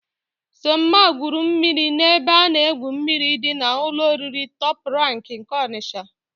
Sọmma gwuru mmiri n'ebe a na-egwu mmiri dị n'ụlọ oriri Tọp Rank nke Ọnịsha.